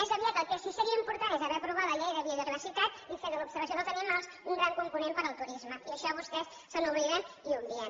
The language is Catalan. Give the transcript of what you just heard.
més aviat el que sí que seria important és haver aprovat la llei de biodiversitat i fer de l’observació dels animals un gran component per al turisme i d’això vostès se n’obliden i ho obvien